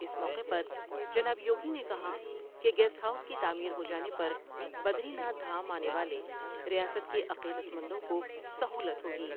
اس موقع پر جناب یوگی نے کہا کہ گیسٹ ہاؤس کی تعمیر ہو جانے پر بدری ناتھ دھام آنے والے ریاست کے عقیدت مندوں کو سہولت ہوگی ۔